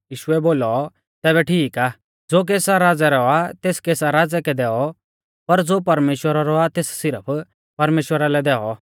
यीशुऐ बोलौ तैबै ठीक आ ज़ो कैसर राज़ै रौ आ तेस कैसर राज़ै कै दैऔ पर ज़ो परमेश्‍वरा रौ आ तेस सिरफ परमेश्‍वरा लै दैऔ